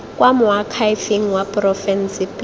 kwa moakhaefeng wa porofense pele